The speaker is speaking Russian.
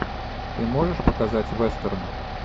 ты можешь показать вестерн